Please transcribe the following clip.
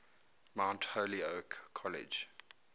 mount holyoke college